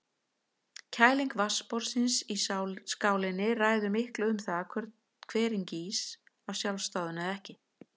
Kæling vatnsborðsins í skálinni ræður miklu um það hvort hverinn gýs af sjálfsdáðum eða ekki.